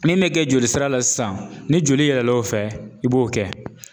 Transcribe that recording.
Min bɛ kɛ jolisira la sisan ni joli yɛlɛl'o fɛ i b'o kɛ.